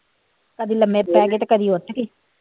ਕਦਿ ਲੰਮੇ ਪੇ ਗੇ ਤੇ ਕਦੇ ਉਠਗੇ